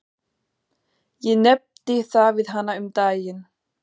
Ég nefndi það við hana um daginn.